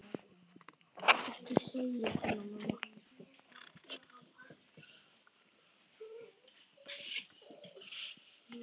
Ekki segja svona, mamma.